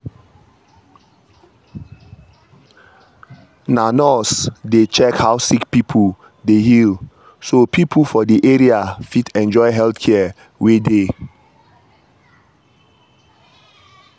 na nurses dey check how sick pipo dey heal so pipo for the area fit enjoy the health care wey dey.